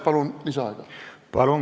Palun!